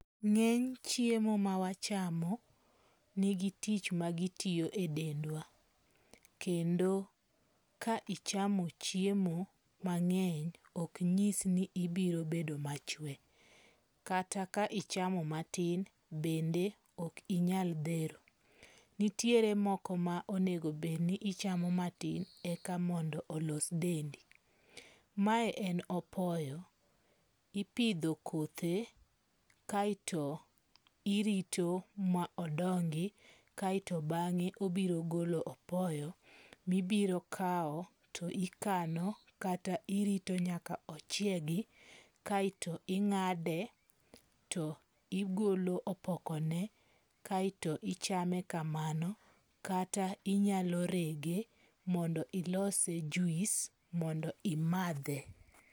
Ng'eny chiemo mawachamo nigi tich magitiyo e dendwa, kendo ka ichamo chiemo mang'eny ok nyis ni ibiro bedo machwe. Kata ka ichamo matin bende ok inyal dhero. Nitiere moko ma onegobedni ichamo matin eka mondo olos dendi. Mae en opoyo, ipidho kothe kaeto irito ma odongi kaeto bang'e obiro golo opoyo mibirokawa to ikano kata irito nyaka ochiegi. Kaeto ing'ade to igolo opoknone kaeto ichame kamano, kata inyalo rege mondo ilose juis mondo imadhe.